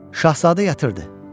Şahzadə yatırdı.